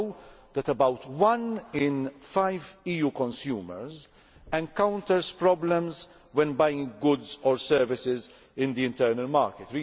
We know that about one in five EU consumers encounters problems when buying goods or services in the internal market.